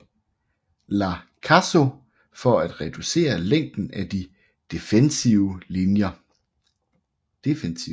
La Caso for at reducere længden af de defensive linjer